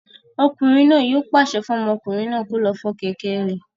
Ọkùnrin náà yóò pàṣẹ fún ọmọkùnrin náà kí ó lọ fọ kẹ̀kẹ́ rẹ̀